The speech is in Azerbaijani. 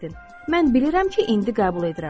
Mən bilirəm ki, indi qəbul edirəm.